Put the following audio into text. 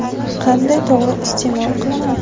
Qanday to‘g‘ri iste’mol qilinadi?